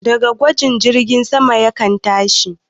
Da gwaji jirgin sama yakan tashi